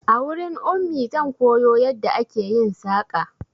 A wurin Ummi zan koyo yadda ake yin saƙa